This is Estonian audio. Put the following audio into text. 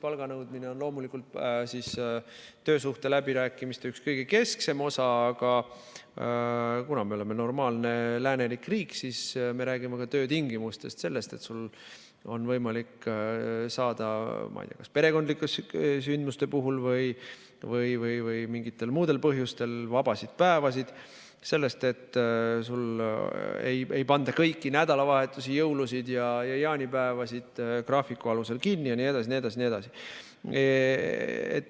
Palganõudmine on loomulikult töösuhte läbirääkimistel üks kõige kesksemaid osi, aga kuna me oleme normaalne läänelik riik, siis me räägime ka töötingimustest, sellest, et sul on võimalik saada, ma ei tea, perekondlike sündmuste puhul või mingitel muudel põhjustel vaba päeva, sellest, et sul ei panda kõiki nädalavahetusi, jõulusid ja jaanipäevasid graafiku alusel kinni jne.